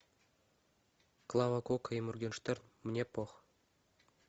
клава кока и моргенштерн мне пох